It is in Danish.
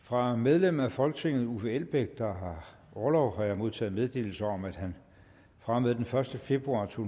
fra medlem af folketinget uffe elbæk der har orlov har jeg modtaget meddelelse om at han fra og med den første februar to